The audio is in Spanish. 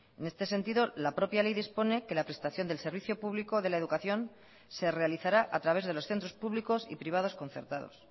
en este sentido la propia ley dispone que la prestación del servicio público de la educación se realizará a través de los centros públicos y privados concertados